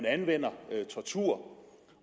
anvendes tortur